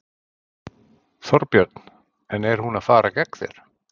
Þorbjörn: En er hún að fara gegn þér?